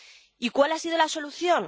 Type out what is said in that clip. ¿Y cuál ha sido la solución?